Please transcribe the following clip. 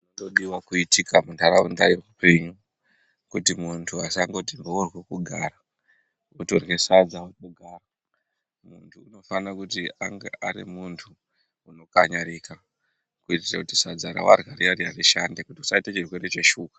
...nodiwa kuitika muntaraunda yeupenyu kuti muntu asangoti mhoryo kugara, otorye sadza ogara. Muntu unofana kuti ange ari muntu unokanyarika kuitire kuti sadza rawarya riya-riya rishande kuti usaite chirwere cheshuka.